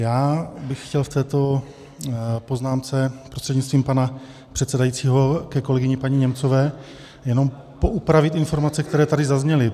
Já bych chtěl v této poznámce prostřednictvím pana předsedajícího ke kolegyni paní Němcové jenom poupravit informace, které tady zazněly.